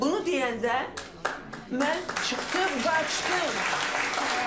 Bunu deyəndə mən çıxdım, qaçdım.